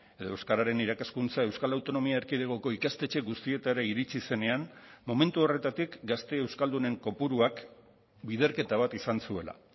edo euskararen irakaskuntza euskal autonomia erkidegoko ikastetxe guztietara iritsi zenean momentu horretatik gazte euskaldunen kopuruak biderketa bat izan zuela